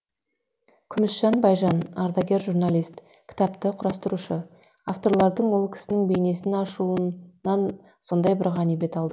күмісжан байжан ардагер журналист кітапты құрастырушы авторлардың ол кісінің бейнесін ашуынан сондай бір ғанибет алдым